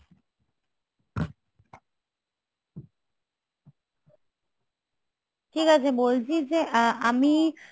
ঠিক আছে বলছি যে আমি